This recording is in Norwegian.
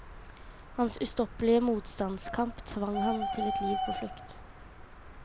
Hans ustoppelige motstandskamp tvang ham til et liv på flukt.